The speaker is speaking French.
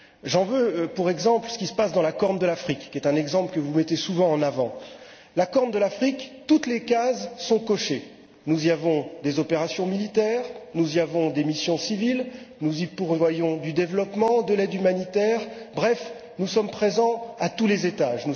J'en veux pour exemple ce qui se passe dans la Corne de l'Afrique, qui est un exemple que vous mettez souvent en avant. En ce qui concerne la Corne de l'Afrique, toutes les cases sont cochées nous y menons des opérations militaires, nous y avons des missions civiles, nous y pourvoyons du développement et de l'aide humanitaire. Bref, nous sommes présents à tous les étages.